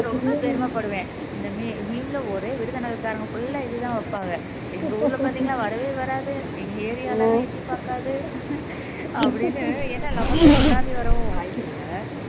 ரொம்ப பெருமைப்படுவேன் meme ல ஒரே விருதுநகர் காரங்க full ஆ இதுதான் வைப்பாங்க எங்க ஊர்ல பார்த்தீங்கன்னா வரவே வராது எங்க area ல எட்டிப் பார்க்காது அப்படின்னு ஏன்னா நமக்கு சுனாமி வரவும் வாய்ப்பில்ல